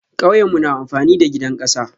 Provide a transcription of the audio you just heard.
Kauyemu na amfani da gidan kasa.